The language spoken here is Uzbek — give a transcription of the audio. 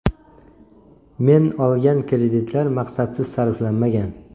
Men olgan kreditlar maqsadsiz sarflanmagan.